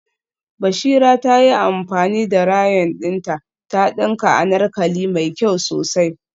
Bashira ta yi amfani da rayon dinta ta dinka anarkali mai kyau sosai